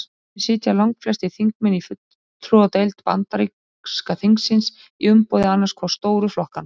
Þannig sitja langflestir þingmenn í fulltrúadeild bandaríska þingsins í umboði annars hvors stóru flokkanna.